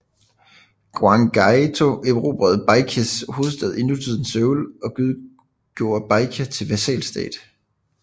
Gwanggaeto erobrede Baekjes hovedstad i nutidens Seoul og gjorde Baekje til vasalstat